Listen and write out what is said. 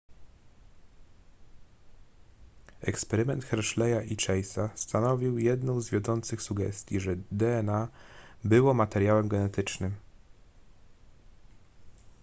eksperyment hersheya i chase stanowił jedną z wiodących sugestii że dna było materiałem genetycznym